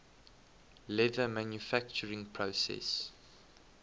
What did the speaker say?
leather manufacturing process